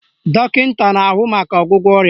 Dọkịta na-ahụ maka ọgwụgwọ ọrịa